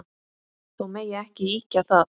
Þó megi ekki ýkja það.